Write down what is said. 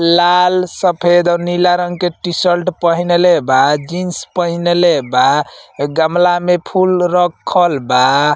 लाल सफ़ेद और नीला रंग के टीसल्ट पहिनले बा। जीन्स पहिनले बा। गमला में फूल रखल बा।